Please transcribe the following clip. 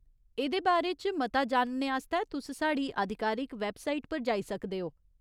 एह्दे बारे च मता जानने आस्तै तुस साढ़ी आधिकारिक वैबसाइट पर जाई सकदे ओ।